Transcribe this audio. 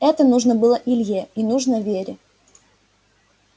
это нужно было илье и нужно вере